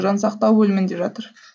жансақтау бөлімінде жатыр